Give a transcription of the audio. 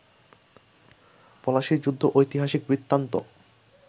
পলাশির যুদ্ধ ঐতিহাসিক বৃত্তান্ত